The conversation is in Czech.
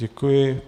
Děkuji.